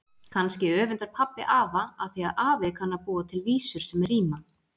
Kannski öfundar pabbi afa af því að afi kann að búa til vísur sem ríma.